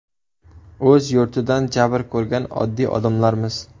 O‘z yurtidan jabr ko‘rgan oddiy odamlarmiz!